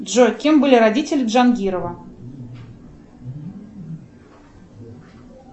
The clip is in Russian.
джой кем были родители джангирова